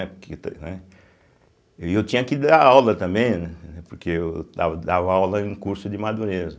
Né porque ta né E eu tinha que dar aula também, né, porque eu dava dava aula em curso de madureza.